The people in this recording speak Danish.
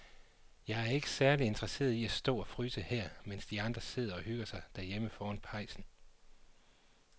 Jeg er ikke særlig interesseret i at stå og fryse her, mens de andre sidder og hygger sig derhjemme foran pejsen.